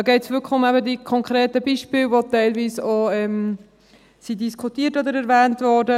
Da geht es eben wirklich um die konkreten Beispiele, die teilweise auch diskutiert oder erwähnt wurden.